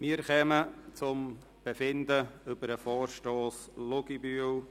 Wir kommen zum Befinden über den Vorstoss Luginbühl.